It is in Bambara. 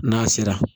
N'a sera